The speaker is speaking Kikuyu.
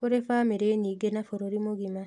Kũrĩ bamĩrĩ nyingĩ na bũrũri mũgima